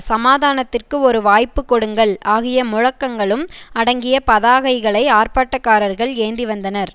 சமாதானத்திற்கு ஒரு வாய்ப்பு கொடுங்கள் ஆகிய முழக்கங்களும் அடங்கிய பதாகைகளை ஆர்ப்பாட்டக்காரர்கள் ஏந்தி வந்தனர்